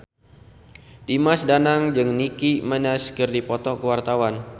Dimas Danang jeung Nicky Minaj keur dipoto ku wartawan